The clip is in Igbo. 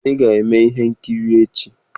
Ị ga-eme ihe nkiri echi.